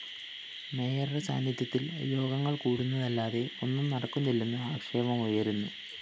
മേയറുടെ സാന്നിധ്യത്തില്‍ യോഗങ്ങള്‍ കൂടുന്നതല്ലാതെ ഒന്നും നടക്കുന്നില്ലെന്ന് ആക്ഷേപം ഉയര്‍ന്നു